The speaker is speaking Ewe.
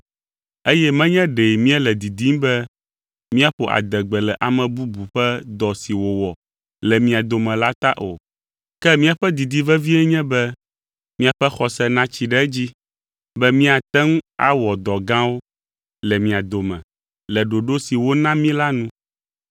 Eye menye ɖe míele didim be míaƒo adegbe le ame bubu ƒe dɔ si wòwɔ le mia dome la ta o, ke míaƒe didi vevie nye be miaƒe xɔse natsi ɖe edzi be míate ŋu awɔ dɔ gãwo le mia dome le ɖoɖo si wona mí la nu.